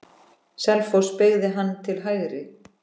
Selfoss beygði hann til hægri.